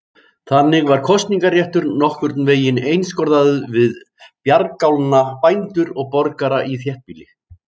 Þannig var kosningaréttur nokkurn veginn einskorðaður við bjargálna bændur og borgara í þéttbýli.